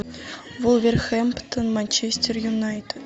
вулверхэмптон манчестер юнайтед